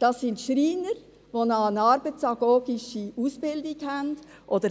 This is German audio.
Das sind Schreiner, die zusätzlich eine arbeitsagogische Ausbildung haben,